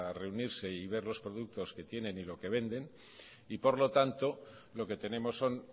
reunirse y ver los productos que tienen y lo que venden y por lo tanto lo que tenemos son